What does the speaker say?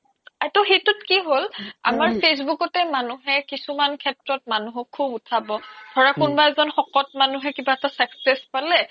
তৌ সেইতোত কি হ্'ল আমাৰ facebook তে মানুহে কিছুমান সেস্ত্ৰ মানুহক খুব উথাব ধৰা কোনবা এজ্ন সকত মানুহে কিবা এটা success প'লে